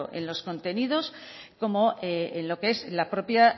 en los contenidos como en lo que es la propia